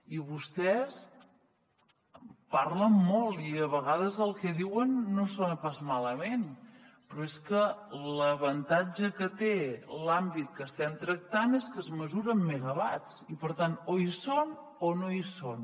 i vostès parlen molt i a vegades el que diuen no sona pas malament però és que l’avantatge que té l’àmbit que estem tractant és que es mesura en megawatts i per tant o hi són o no hi són